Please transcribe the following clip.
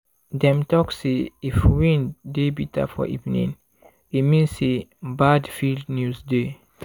dem talk say if wind dey bitter for evening e mean say bad field news dey.